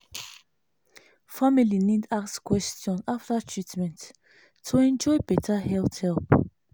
family need ask question after treatment to enjoy better health help.